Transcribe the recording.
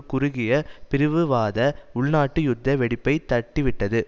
குறுகிய பிரிவுவாத உள்நாட்டு யுத்த வெடிப்பை தட்டிவிட்டது